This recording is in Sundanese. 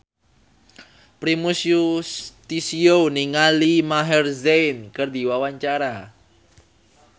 Primus Yustisio olohok ningali Maher Zein keur diwawancara